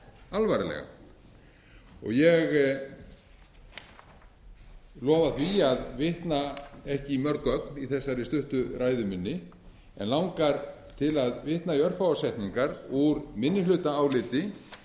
alvarlega ég lofa því að vitna ekki í mörg gögn í þessari stuttu ræðu minni en langar til að vitna í örfáar setningar úr minnihlutaáliti